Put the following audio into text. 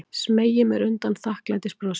Smeygi mér undan þakklætisbrosi.